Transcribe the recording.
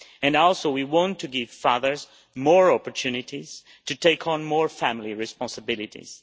We also want to give fathers more opportunities to take on more family responsibilities.